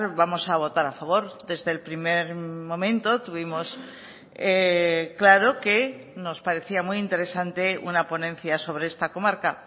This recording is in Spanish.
vamos a votar a favor desde el primer momento tuvimos claro que nos parecía muy interesante una ponencia sobre esta comarca